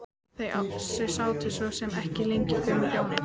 Þau sátu svo sem ekki lengi gömlu hjónin.